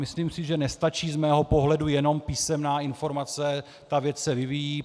Myslím si, že nestačí z mého pohledu jenom písemná informace, ta věc se vyvíjí.